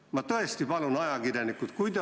Ma tõesti palun teid, ajakirjanikud!